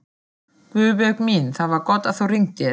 Guðbjörg mín, það var gott að þú hringdir.